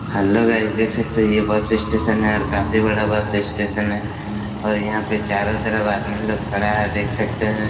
Hello guys देख सकते है ये बस स्टेशन है काफी बड़ा बस स्टेशन है यहाँ पे चारो तरफ आदमी लोग खड़ा है देख सकते है।